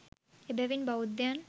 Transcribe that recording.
එබැවින් බෞද්ධයන්